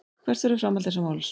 Hvert verður framhald þessa máls.